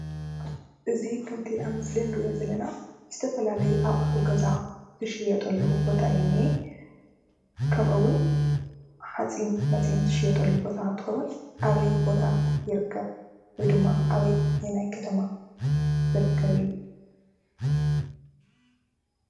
እዚ ከምቲ ኣብ ምስሊ ንርእዮ ዘለና ዝተፈላለዩ ኣቑሑ ገዛ ዝሽየጠሉ ቦታ እዩ ዝነኤ። ከምኡውን ሓፂንመፂን ዝሽየጠሉ ቦታ እንትኾውን እበይ ቦታ ይርከብ ወይድማ ኣበየናይ ከተማ ይርከብ እዩ?